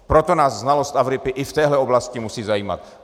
Proto nás znalost Afriky i v téhle oblasti musí zajímat.